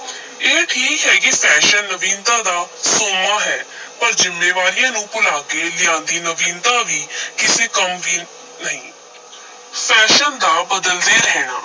ਇਹ ਠੀਕ ਹੈ ਕਿ fashion ਨਵੀਨਤਾ ਦਾ ਸੋਮਾ ਹੈ ਪਰ ਜ਼ਿੰਮੇਵਾਰੀਆਂ ਨੂੰ ਭੁਲਾ ਕੇ ਲਿਆਂਦੀ ਨਵੀਨਤਾ ਵੀ ਕਿਸੇ ਕੰਮ ਦੀ ਨਹੀਂ fashion ਦਾ ਬਦਲਦੇ ਰਹਿਣਾ,